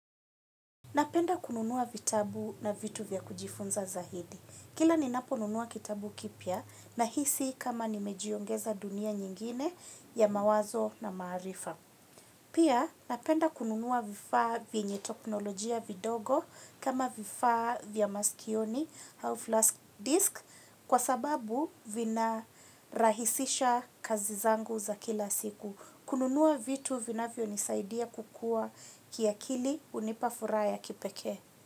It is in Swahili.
Napenda kununua vitabu na vitu vya kujifunza zaidi. Kila ninaponunua kitabu kipya, nahisi kama nimejiongeza dunia nyingine yamawazo na maarifa. Pia, napenda kununua vifaa vyenye teknolojia vidogo, kama vifaa vya maskioni au flash disk, kwa sababu vina rahisisha kazi zangu za kila siku. Kununua vitu vinavyonisaidia kukua kiakili hunipa furaha ya kipekee.